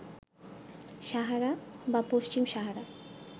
সাহারা বা পশ্চিম সাহারা